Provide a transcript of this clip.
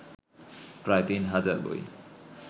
প্রায় তিন হাজার বই